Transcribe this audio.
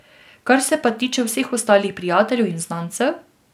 Kar se pa tiče vseh ostalih prijateljev in znancev...